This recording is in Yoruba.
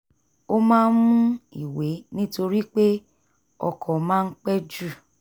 ó máa ń mú ìwé nítorí pé ọkọ̀ máa ń pẹ́ ju